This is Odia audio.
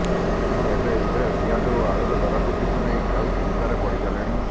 ଏଣୁ ଏବେ ଉଭୟ ପିଆଜ ଓ ଆଳୁର ଦରବୃଦ୍ଧିକୁ ନେଇ ଖାଉଟି ଚିନ୍ତାରେ ପଡିଗଲେଣି